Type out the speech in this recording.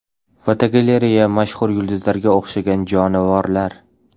Fotogalereya: Mashhur yulduzlarga o‘xshagan jonivorlar.